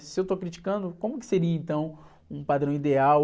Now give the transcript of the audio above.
Se eu estou criticando, como que seria, então, um padrão ideal?